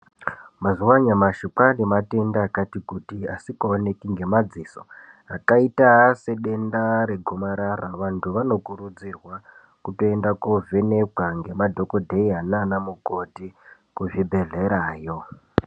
Mazuva anyamashi kwane matenda akati kuti asikaoneki ngemaziso akaita sedenda regomarara vantu vanokurudzirwa kuenda kovhenekwa nemadhokodheya nana mukoti kuzvibhedhlera yo .